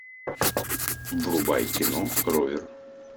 врубай кино ровер